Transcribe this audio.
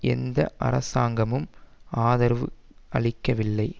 எந்த அரசாங்கமும் ஆதரவளிக்கவில்லை